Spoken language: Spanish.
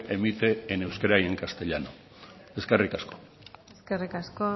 emite en euskera y en castellano eskerrik asko eskerrik asko